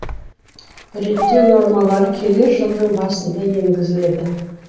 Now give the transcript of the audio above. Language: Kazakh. реттеу нормалары келер жылдың басында енгізіледі